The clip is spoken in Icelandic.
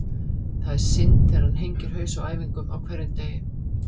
Það er synd þegar hann hengir haus á æfingum á hverjum degi.